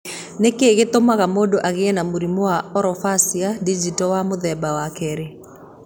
Nĩ kĩĩ gĩtũmaga mũndũ agĩe na mũrimũ wa orofacio-digital wa mũthemba wa 2?